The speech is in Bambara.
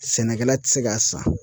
Sɛnɛkɛla ti se k'a san.